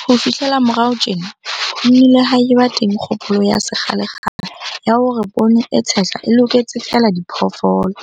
Ho fihlela morao tjena, ho nnile ha eba teng kgopolo ya sekgalekgale ya hore poone e tshehla e loketse feela diphoofolo,